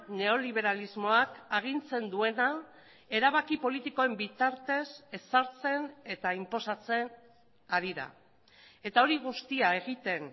neoliberalismoak agintzen duena erabaki politikoen bitartez ezartzen eta inposatzen ari da eta hori guztia egiten